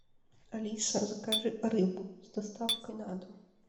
алиса закажи рыбу с доставкой на дом